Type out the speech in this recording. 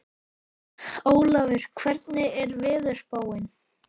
Ólafur, hvernig er veðurspáin?